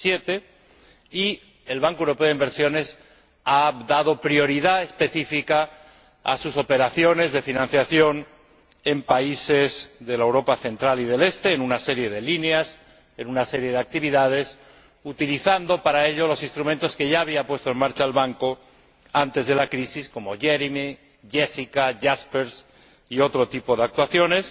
2007. El Banco Europeo de Inversiones ha dado una prioridad específica a sus operaciones de financiación en países de Europa central y oriental, en una serie de líneas, en una serie de actividades, utilizando para ello los instrumentos que ya había puesto en marcha el Banco antes de la crisis, como Jeremie, Jessica, Jaspers y otro tipo de actuaciones.